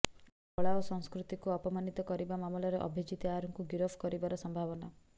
କଳା ଓ ସଂସ୍କୃତିକୁ ଅପମାନିତ କରିବା ମାମଲାରେ ଅଭିଜିତ ଆୟାର ଙ୍କୁ ଗିରଫ କରିବାର ସମ୍ଭାବନା